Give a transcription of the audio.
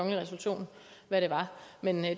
men